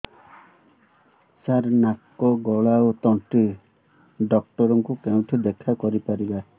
ସାର ନାକ ଗଳା ଓ ତଣ୍ଟି ଡକ୍ଟର ଙ୍କୁ କେଉଁଠି ଦେଖା କରିପାରିବା